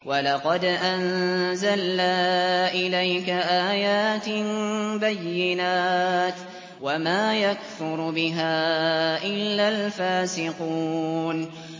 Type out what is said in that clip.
وَلَقَدْ أَنزَلْنَا إِلَيْكَ آيَاتٍ بَيِّنَاتٍ ۖ وَمَا يَكْفُرُ بِهَا إِلَّا الْفَاسِقُونَ